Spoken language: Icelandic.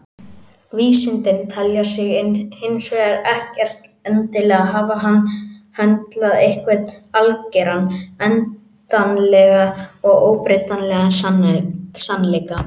Vísindin telja sig hins vegar ekkert endilega hafa höndlað einhvern algeran, endanlegan og óbreytanlegan sannleika.